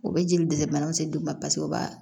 U bɛ jeli dɛsɛ banaw se den ma paseke u b'a